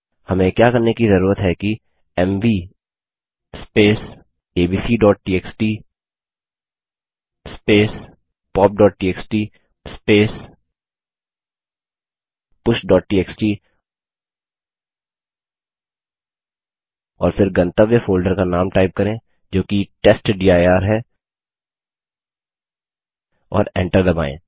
हमें क्या करने कि जरूरत है कि एमवी abcटीएक्सटी popटीएक्सटी pushटीएक्सटी और फिर गंतव्य फोल्डर का नाम टाइप करें जो कि टेस्टडिर है और एंटर दबायें